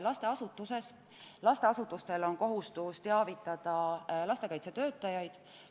Näiteks lasteasutustel on kohustus teavitada lastekaitsetöötajaid.